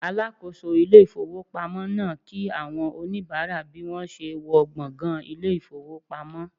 Alakoso ile ifowopamo naa ki awon onibara bi won se n wo gbongan ile ifowpamo